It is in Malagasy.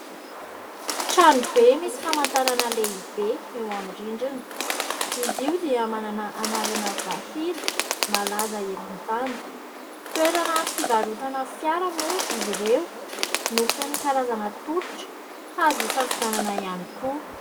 Trano be misy famantarana lehibe eo amin'ny rindrina. Izy io dia manana anarana vahiny malaza eran-tany. Toerana fivarotana fiara moa izy ireo no feno karazana tolotra azo hisafidianana ihany koa.